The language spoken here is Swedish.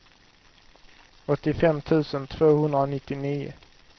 åttiofem tusen tvåhundranittionio